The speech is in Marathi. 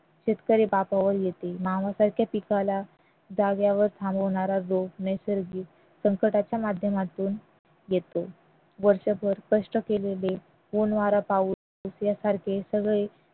शेतकरी येते पिकाला जागेवर थांबवणारा नैसर्गिक संकटाच्या माध्यमातून येतो वर्षभर कष्ट केलेले ऊन वारा पाऊस सारखे सगळे